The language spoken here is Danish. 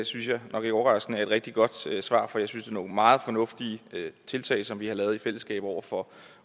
synes jeg nok ikke overraskende er et rigtig godt svar for jeg synes nogle meget fornuftige tiltag som vi har lavet i fællesskab over for